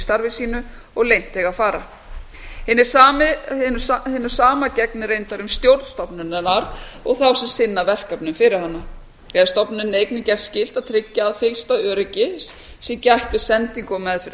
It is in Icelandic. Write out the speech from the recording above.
starfi sínu og leynt eiga að fara hinu sama gegnir reyndar um stjórn stofnunarinnar og þá sem sinna verkefnum fyrir hana er stofnuninni einnig gert skylt að tryggja að fyllsta öryggis sé gætt við sendingu og meðferð